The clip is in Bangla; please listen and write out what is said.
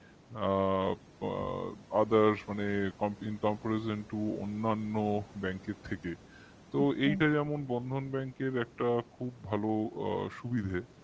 তো আ other মানে in comparison to অন্যান্য bank র থেকে তো এইটা যেমন Bandhan Bank এর আ খুব ভালো একটা সুবিধা